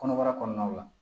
Kɔnɔbara kɔɔnaw la